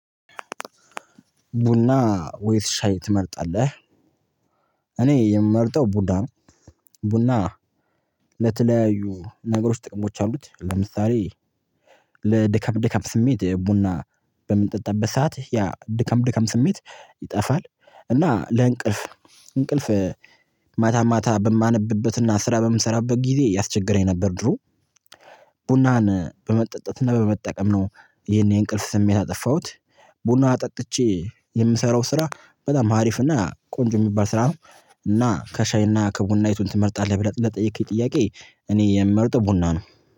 ቡና ወይስ ሻይ ትመርጣለህ? እኔ የምመርጠው ቡና ነው። ቡና ለተለያዩ ነገሮች ጥቅሞች አሉት። ለምሳሌ ለድካም ድካም ስሜት ቡና በምንጠጣበት ሰዓት ያ ድካም ድካም ስሜት ይጠፋል። እና ለእንቅልፍ እንቅልፍ ማታ ማታ በማነብበትና ስራ በምሰራበት ጊዜ ያስቸግረኝ ነበር። ድሮ ቡናን በመጠጣት እና በመጠቀም ነው ይሄን የእንቅልፍ ስሜት ያጠፋሁት። ቡና አጠጥቼ የምሰራው ስራ በጣም አሪፍ እና ቆንጆ የሚባል ስራ ነው። እና ከሻይ እና ከቡና የቱን ትመርጣለህ? ብለህ ለጠየከኝ ጥያቄ እኔ የምመርጠው ቡና ነው።